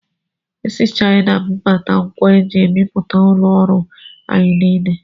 Esi Chaịna bubata ngwa eji ebipụta ụlọ ọrụ anyị niile.